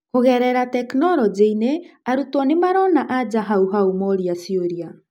kũgerera tekinorojĩinĩ arutwo nĩmarona anja hau hau moria ciũria